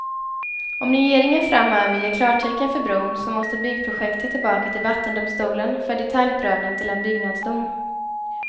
Om regeringen framöver ger klartecken för bron, så måste byggprojektet tillbaka till vattendomstolen för detaljprövning till en byggnadsdom.